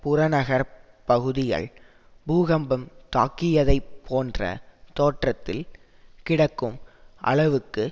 புறநகரப் பகுதிகள் பூகம்பம் தாக்கியதைப்போன்ற தோற்றத்தில் கிடக்கும் அளவுக்கு